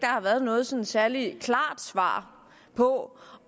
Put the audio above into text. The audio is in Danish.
har været noget sådan særlig klart svar på